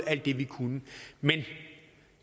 alt det vi kunne men